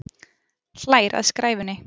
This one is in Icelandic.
Hlær að skræfunni.